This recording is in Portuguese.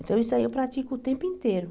Então isso aí eu pratico o tempo inteiro.